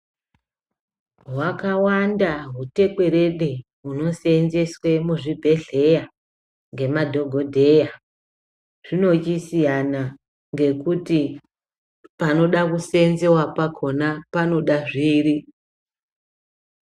Kuzvikora zvefundo yechipiri nekuzvikora yefundo yepadera-dera zvevantu vanenge veifunda kuti vapuwe zvitupa zvefundo yepadera. Vafundi vanokurudzirwa kumbangwinyisira yaamho ngezvifundo zvavozvo.